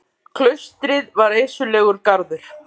Klaustrið var reisulegur garður.